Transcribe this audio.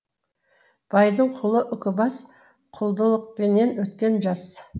байдың құлы үкібас құлдылықпенен өткен жас